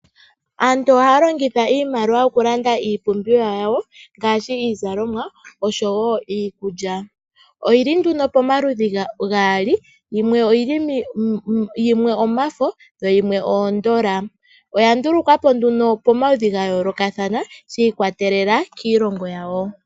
Aantu ohaya longitha iimaliwa oku landa iipumbiwa yawo ngaashi iizalomwa osho wo iikulya. Oyi li nduno pomaludhi gaali yimwe omafo yo yimwe oondola. Oya ndulukwa po nduno pamaludhi ga yoolokathana shi ikwatelela kiilongo yawo.